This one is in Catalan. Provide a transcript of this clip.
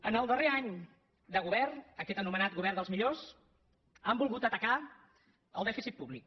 en el darrer any de govern aquest anomenat govern dels millors han volgut atacar el dèficit públic